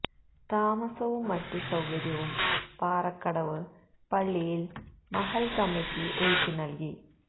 താമസവും മറ്റു സൌകര്യവും പാറക്കടവ് പള്ളിയില് മഹല്ല് കമ്മിറ്റി ഒരുക്കി നല്കി